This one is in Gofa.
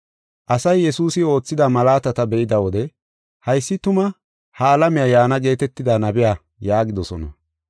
Asay Yesuusi oothida malaatata be7ida wode, “Haysi tuma ha alamiya yaana geetetida nabiya” yaagidosona.